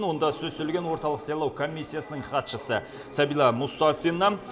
онда сөз сөйлеген орталық сайлау комиссиясының хатшысы сәбила мұстафина